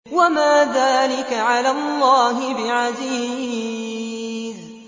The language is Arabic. وَمَا ذَٰلِكَ عَلَى اللَّهِ بِعَزِيزٍ